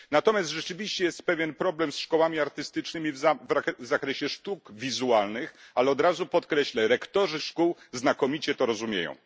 Natomiast rzeczywiście jest pewien problem ze szkołami artystycznymi w zakresie sztuk wizualnych, ale od razu podkreślę rektorzy tych szkół znakomicie to rozumieją.